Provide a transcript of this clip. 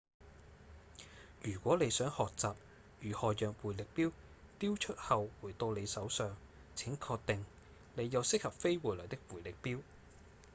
如果你想學習如何讓迴力鏢丟出後回到你手上請確定你有適合飛回來的迴力鏢